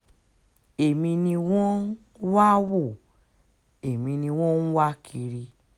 èmi ni wọ́n wá ń wo èmi ni wọ́n ń wá kiri